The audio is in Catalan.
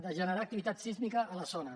de generar activitat sísmica a la zona